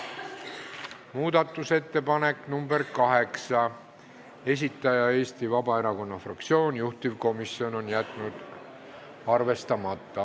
Muudatusettepaneku nr 8 esitaja on Vabaerakonna fraktsioon, juhtivkomisjon on jätnud arvestamata.